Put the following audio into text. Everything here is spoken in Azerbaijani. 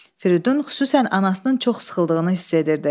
Firidun xüsusən anasının çox sıxıldığını hiss edirdi.